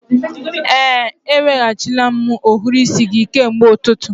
Ee, eweghachila m ohiri isi gị kemgbe ụtụtụ